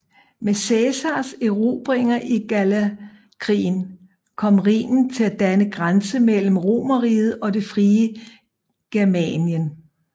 Med Cæsars erobringer i Gallerkrigen kom Rhinen til at danne grænse mellem Romerriget og det frie Germanien